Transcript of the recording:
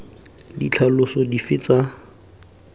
ditlhaloso dife tsa thalelo ka